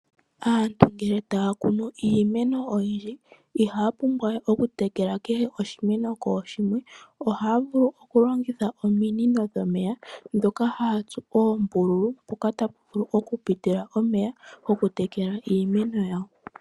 Aantu ngele taya kunu iimeno oyindji ihaya pumbwa we oku tekela kehe oshimeno kooshimwe. Ohaya vulu oku kutha ominino dhomeya ndhoka haya tsu oombululu mpoka tapu vulu oku pita omeya goku tekela iimeno yawo.